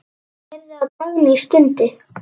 Ég heyrði að Dagný stundi.